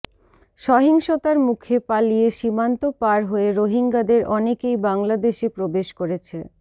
সহিংসতার মুখে পালিয়ে সীমান্ত পার হয়ে রোহিঙ্গাদের অনেকেই বাংলাদেশে প্রবেশ করেছে